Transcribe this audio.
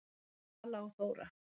Vala og Þóra.